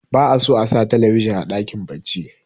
ba a so a talabijin a dakin bacci